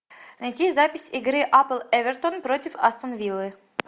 найти запись игры апл эвертон против астон виллы